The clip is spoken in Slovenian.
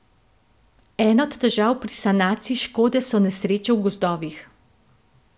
Ena od težav pri sanaciji škode so nesreče v gozdovih.